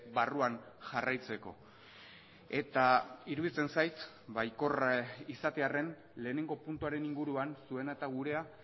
barruan jarraitzeko eta iruditzen zait baikorra izatearren lehenengo puntuaren inguruan zuena eta gurea